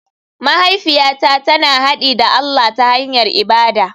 Mahaifiyata tana haɗi da allah ta hanyar ibada.